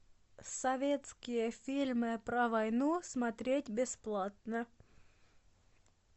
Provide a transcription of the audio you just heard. советские фильмы про войну смотреть бесплатно